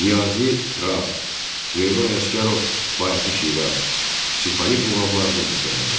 Niyazi Rast, Süleyman Ələsgərov, Bayatı Şiraz simfonik muğamlarını bəstələdilər.